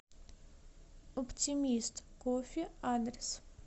оптимист кофе адрес